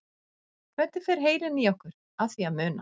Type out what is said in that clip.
Hvernig fer heilinn í okkur að því að muna?